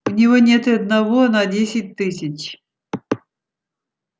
у него нет и одного на десять тысяч